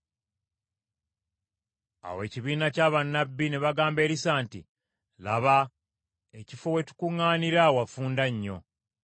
Awo ekibiina kya bannabbi ne bagamba Erisa nti, “Laba, ekifo we tukuŋŋaanira wafunda nnyo.